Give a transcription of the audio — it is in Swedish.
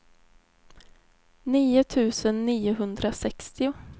nio tusen niohundrasextio